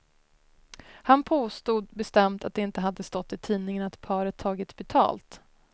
Han påstod bestämt att det inte hade stått i tidningen att paret tagit betalt.